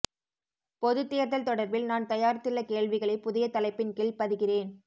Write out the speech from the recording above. பொதுத் தேர்தல் தொடர்பில் நான் தயாரித்துள்ள கேள்விகளை புதிய தலைப்பின் கீழ் பதிகிறேன்